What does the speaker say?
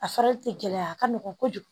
A farili tɛ gɛlɛya a ka nɔgɔ kojugu